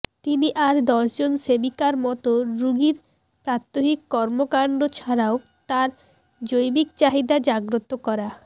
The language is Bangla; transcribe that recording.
তিনি আর দশজন সেবিকার মত রুগীর প্রাত্যহিক কর্ম কান্ড ছাড়াও তাঁর জৈবিক চাহিদা জাগ্রত করা